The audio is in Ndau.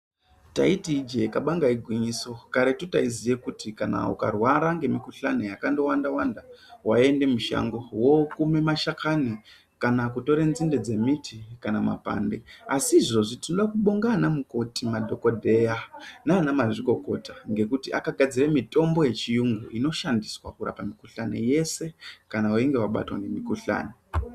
Taiti ijee kabanga igwinyiso karetu taiziya kuti kana ukarwara ngemikuhlani yakawanda Wanda waiende mushango wookume mashakani kana kutore nzinde dzembiti kana mapande, asi izvozvi tinode kubonga ana mukoti, madhokodheya nanamazvikokota ngekuti akagadzire mitombo yechiyungu inoshandiswa kurapa mikuhlani yeshe kana weinge wabatwa ngemikuhlani.